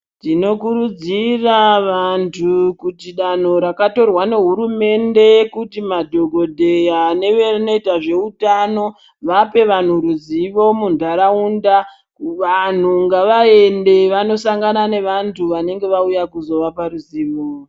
Tinokurudzira vantu kuti danho rakatorwa nehurumende kuti madhokodheya neve noita zveutano vape vanhu ruzivo munharaunda vanhu ngavaende vanosangana nevantu vanenge vauya kuzovapa zuzivo.